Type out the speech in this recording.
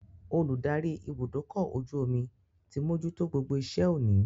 Olùdarí ibùdókọ̀-ojú-omi ti mojútó gbogbo iṣẹ́ òní